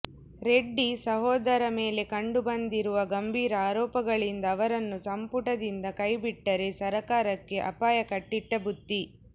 ರೆಡ್ಡಿ ಸಹೋದರ ಮೇಲೆ ಕಂಡು ಬಂದಿರುವ ಗಂಭೀರ ಆರೋಪಗಳಿಂದ ಅವರನ್ನು ಸಂಪುಟದಿಂದ ಕೈಬಿಟ್ಟರೆ ಸರಕಾರಕ್ಕೆ ಅಪಾಯ ಕಟ್ಟಿಟ್ಟ ಬುತ್ತಿ